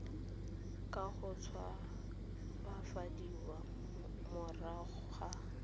ka go tshabafadiwa morago ga